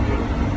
Diqqət.